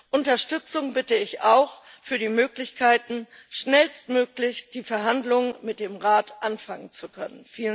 Um Unterstützung bitte ich auch für die Möglichkeiten, schnellstmöglich die Verhandlungen mit dem Rat anfangen zu können.